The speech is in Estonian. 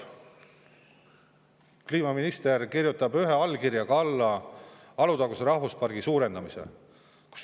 Kliimaminister kinnitab oma allkirjaga Alutaguse rahvuspargi laiendamise.